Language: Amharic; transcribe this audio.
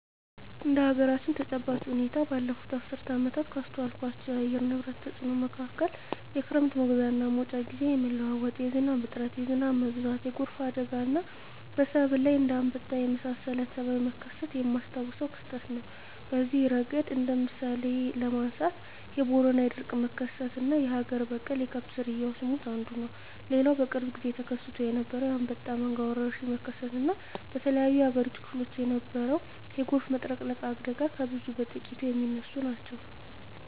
እንደ አገራችን ተጨባጭ ሁኔታ ባለፋት አስርት ዓመታት ካስተዋልኳቸው የአየር ንብረት ተጽኖ መካከል የክረም መግቢያና መውጫ ግዜ የመለዋወጥ፣ የዝናብ እጥረት፣ የዝናብ መብዛት፣ የጎርፍ አደጋና በሰብል ላይ እንደ አንበጣ የመሳሰለ ተባይ መከሰት የማስታውሰው ክስተት ነው። በዚህ እረገድ እንደ ምሳሌ ለማንሳት የቦረና የድርቅ መከሰትና አገር በቀል የከብት ዝርያወች ሞት አንዱ ነው። ሌላው በቅርብ ግዜ ተከስቶ የነበረው የአንበጣ መንጋ ወረርሽኝ መከሰት እና በተለያዮ የአገሪቱ ክፍሎች የነበረው የጎርፍ መጥለቅለቅ አደጋ ከብዙ በጥቂቱ ሚነሱ ናቸው።